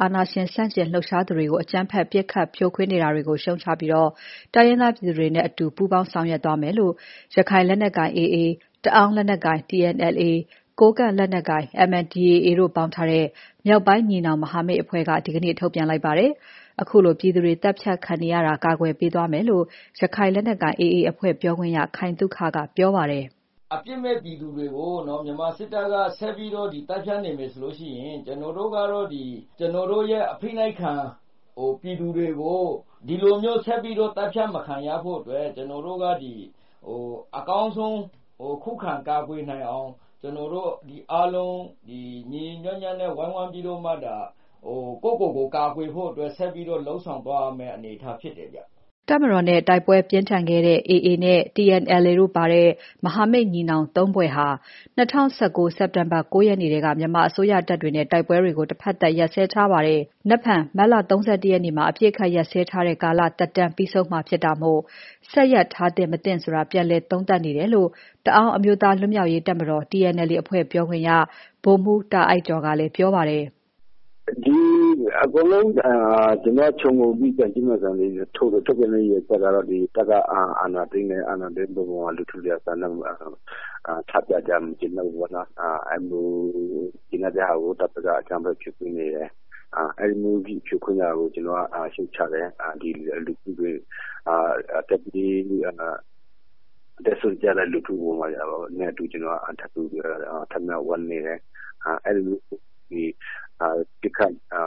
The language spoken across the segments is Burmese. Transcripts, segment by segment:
အာဏာရှင်ဆန့်ကျင်လှုပ်ရှားသူတွေကို အကြမ်းဖက် ပစ်ခတ်ဖြိုခွင်းနေတာတွေကို ရှုတ်ချပြီး တိုင်းရင်းသားပြည်သူတွေနဲ့ အတူ ပူးပေါင်းဆောင်ရွက်သွားမယ်လို့ ရခိုင်လက်နက်ကိုင် AA၊ တအာင်း လက်နက်ကိုင် TNLA၊ ကိုးကန့်လက်နက်ကိုင် MNDAA တို့ပေါင်းထားတဲ့ မြောက်ပိုင်းညီနောင်မဟာမိတ်အဖွဲ့က ဒီကနေ့ ထုတ်ပြန်လိုက်တာပါ။ ခုလို ပြည်သူတွေ သတ်ဖြတ်ခံနေရတာ ကာကွယ် ပေးသွားမယ်လို့ ရခိုင်လက်နက်ကိုင် AA အဖွဲ့ ပြောခွင့်ရ ခိုင်သုခက ပြောပါတယ်။ “အပြစ်မဲ့ ပြည်သူတွေကို မြန်မာစစ်တပ်က ဆက်ပြီးတော့ သတ်ဖြတ်နေမယ်ဆိုရင် ကျနော်တို့ကတော့ ကျနော်တို့ရဲ့ အဖိနှိပ်ခံ ပြည်သူတွေကို... ဒီလိုမျိုးဆက်ပြီးတော့ အသတ်ဖြတ်မခံရဖို့အတွက် အကောင်းဆုံးခုခံကာကွယ်နိုင်အောင် ကျနော်တို့အားလုံး ညီညီညွှတ်ညွှတ်နဲ့ အားလုံးဝိုင်းဝန်းပြီးတော့မှ ဒါ ကိုယ့်ကိုယ်ကို ကာကွယ်ဖို့အတွက် ဆက်ပြီးတော့ လုပ်ဆောင်သွားရမယ့် အနေအထားဖြစ်တယ်ဗျာ။” တပ်မတော်နဲ့ တိုက်ပွဲတွေပြင်းထန်ခဲ့တဲ့ AA နဲ့ TNLA တို့ပါတဲ့ မဟာမိတ်ညီနောင် ၃ ဖွဲ့ဟာ ၂၀၁၉ စက်တင်ဘာလ ၉ ရက်ထဲက မြန်မာအစိုးရတပ်နဲ့ တိုက်ပွဲတွေကို တဘက်သတ်ရပ်စဲထားတာဖြစ်ပါတယ်။ မနက်ဖြန် မတ်လ ၃၁ ရက်နေ့မှာ အပြစ်အခတ်ရပ်စဲထားတဲ့ ကာလသက်တမ်းပြီးဆုံးမှာ ဖြစ်တာမို့ ဆက်ရပ်ထားသင့် မသင့်ဆိုတာ ပြန်လည်သုံးသပ်နေတယ်လို့ တအာင်းအမျိုးသားလွတ်မြောက်ရေး တပ်မတော် TNLA အဖွဲ့ ပြောခွင့်ရ ဗိုလ်မှူး တာအိုက်ကျော်ကလည်း ပြောပါတယ်။ “အကုန်လုံးခြုံငြုံပြီး သုံးသပ်ရမယ်ဆိုရင်လည်း တပ်က အာဏာသိမ်းတယ်။ အဲဒါကို ပြည်သူလူထုက မကျေနပ်လို့ ဆန္ဒပြတာကို တပ်ဘက်က အကြမ်းဖက် ဖြိုခွင်းတယ်။ အဲဒီလိုဖြိုခွင်းတာကို ကျနော်တို့က ရှုတ်ချတယ်။ အသက်စွန့်ကြတဲ့ လူထုနဲ့အတူ ကျနော်တို့ ဝမ်းနည်းတယ်။ အဲဒီလိုမျိုး အကြမ်းဖက် ပစ်တာ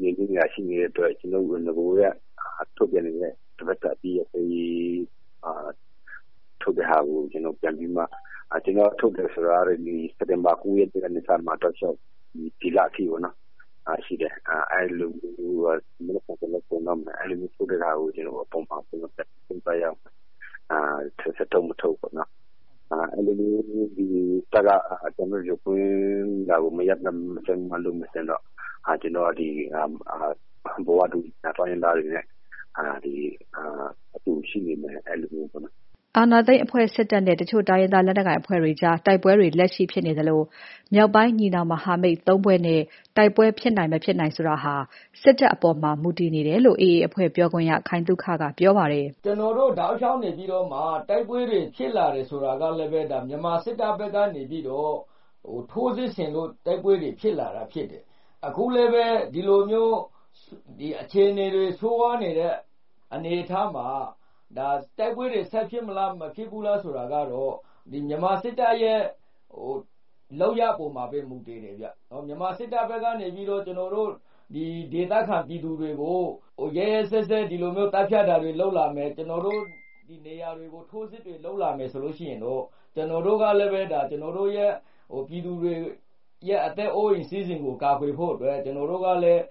နေတာတွေ ရှိတဲ့အတွက်ကြောင့် ကျနော်တို့ နဂိုကတည်းက ထုတ်ပြန်နေတဲ့ ထုတ်ပြန်တာကို ပြန်ပြီးတော့မှ ကျနော်တို့က စက်တင်ဘာ ၉ ရက်နေ့ကတည်းက ဒီလအထိ ထုတ်ပြန်လာတာရှိတယ်။ မနက်ဖြန်ဆိုရင်လည်း ကုန်တော့ အဲဒီလိုမျိုးထုတ်တဲ့ဟာကို ဆက်ထုတ်မထုတ်ဆိုတာကတော့ ဆွေးနွေးနေတယ်။ တပ်က အကြမ်းဖက်တာတွေကို မရပ်မချင်းတော့ ကျနော်တို့က ဒီဘဝတူ ညီနောင် တိုင်းရင်းသားတွေနဲ့ အတူရှိနေမယ်... အဲဒီလိုမျိုးပေါ့နော်။” အာဏာသိမ်းအဖွဲ့စစ်တပ်နဲ့ တချို့တိုင်းရင်းသား လက်နက်ကိုင်အဖွဲ့တွေကြား တိုက်ပွဲတွေ လက်ရှိဖြစ်နေသလို မြောက်ပိုင်း ညီနောင်မဟာမိတ် ၃ ဖွဲ့နဲ့ တိုက်ပွဲ ဖြစ်မဖြစ်ဆိုတာ စစ်တပ်အပေါ်မှာ မူတည်နေတယ်လို့ AAအဖွဲ့ပြောခွင့်ရ ခိုင်သုခကပြောပါတယ်။ “ကျနော်တို့ တောက်လျှောက်နေပြီးတော့မှ တိုက်ပွဲတွေ ဖြစ်လာတယ်ဆိုတာကလည်း မြန်မာစစ်တပ်ဘက်ကနေပြီးတော့ ထိုးစစ်ဆင်လို့ တိုက်ပွဲတွေ ဖြစ်လာတာဖြစ်တယ်။ အခုလည်းပဲ အခြေအနေဆိုးရွားနေတဲ့ အခြေအနေမျိုးမှာ တိုက်ပွဲဖြစ်မလားဆိုတာကတော့ မြန်မာစစ်တပ်ရဲ့ လုပ်ရပ်အပေါ်မှာပဲ မူတည်တယ်။ မြန်မာစစ်တပ်ဘက်ကနေပြီးတော့ ကျနော်တို့ ဒေသခံပြည်သူတွေကို ဒီလိုမျိုး ရက်ရက်စက်စက် သတ်ဖြတ်တာတွေလုပ် လာမယ်။ ထိုးစစ်တွေ လုပ်လာမယ်ဆိုရင်တော့ ကျနော်တို့ ပြည်သူတွေရဲ့ အသက်အိုး အိမ်စီးစိမ်တွေကို ကာကွယ်ဖို့အတွက် ကျနော်တို့ကလည်း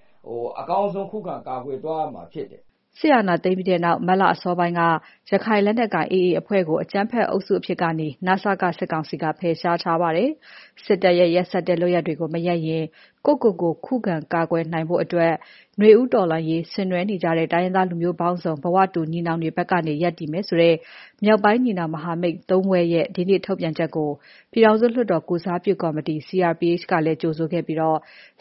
အကောင်းဆုံးခုခံ ကာကွယ်သွား ရမှာဖြစ်တယ်။” စစ်အာဏာသိမ်းပြီးနောက် မတ်လ အစောပိုင်းက ရခိုင်လက်နက်ကိုင် AA အဖွဲ့ကို အကြမ်းဖက်အုပ်အဖြစ်ကနေ န.စ.က စစ်ကောင်စီက ဖယ်ရှားထားပါတယ်။ စစ်တပ်ရဲ့ရက်စက်တဲ့ လုပ်ရပ်တွေကို မရပ်ရင် ကိုယ့်ကိုယ်ကို ခုံခံကာကွယ်နိုင်ဖို့အတွက် နွေဦးတော်လှန်ရေးဆင်နွဲနေကြတဲ့ တိုင်းရင်းသားလူမျိုးပေါင်းစုံ ဘဝတူညီနောင်တွေဘက်က ရပ်တည်မယ်ဆိုတဲ့ မြောက်ပိုင်းညီနောင်မဟာမိတ် သုံးဖွဲ့ရဲ့ ဒီနေ့ ထုတ်ပြန်ချက်ကို ပြည်ထောင်စုလွတ်တော်ကိုယ်စားပြု ကော်မတီ CRPH ကလည်း ကြိုဆိုခဲ့ပြီး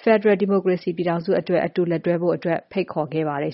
ဖက်ဒရယ်ဒီမိုကရေစီပြည်ထောင်စုအတွက် အတူလက်တွဲဖို့ ဖိတ်ခေါ်ခဲ့ပါတယ်